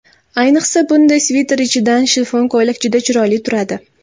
Ayniqsa, bunday sviter ichidan shifon ko‘ylak juda chiroyli turadi.